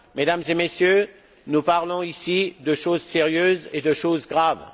Mesdames et messieurs, nous parlons ici de choses sérieuses et de choses graves.